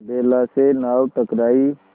बेला से नाव टकराई